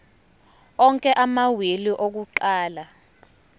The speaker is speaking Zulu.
onke amawili akuqala